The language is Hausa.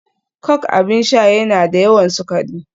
Coke abin sha yana da yawan sukari